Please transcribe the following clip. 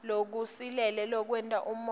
lokusilele lokwenta umongo